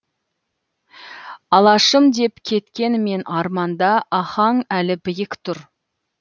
алашым деп кеткенімен арманда ахаң әлі биік тұр